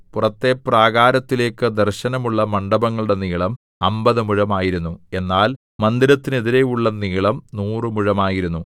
പുറത്തെ പ്രാകാരത്തിലേക്കു ദർശനമുള്ള മണ്ഡപങ്ങളുടെ നീളം അമ്പത് മുഴമായിരുന്നു എന്നാൽ മന്ദിരത്തിനെതിരെയുള്ള നീളം നൂറുമുഴമായിരുന്നു